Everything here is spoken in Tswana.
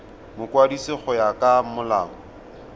mokwadisi go ya ka molao